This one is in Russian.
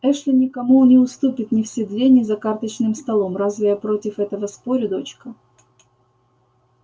эшли никому не уступит ни в седле ни за карточным столом разве я против этого спорю дочка